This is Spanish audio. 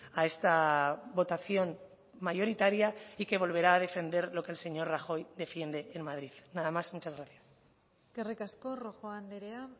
a esta votación mayoritaria y que volverá a defender lo que el señor rajoy defiende en madrid nada más y muchas gracias eskerrik asko rojo andrea